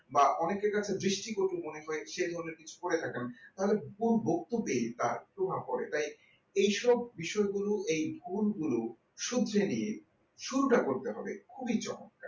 বা অনেকের কাছে দৃষ্টিকটু সেভাবে কিছু করে থাকেন তাহলে পুরো বক্তব্যই তার প্রভাব পড়ে এইসব বিষয়গুলো এই এই কোন গুলো শুধরে নিয়ে শুরুটা করতে হবে খুবই চমৎকার